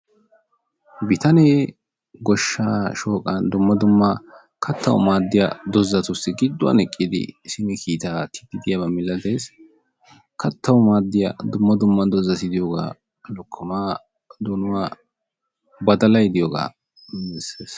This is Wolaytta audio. Bitaane goshsha shooqa dumma dumma kattawu maadiyaa dozatussi giduwan eqqidi kiitaa aattidi de'iyaaba milatees. Kattawu maaddiyaa dumma dumma dozati lokkoma, donuwaa badallay diyooga qonccisses.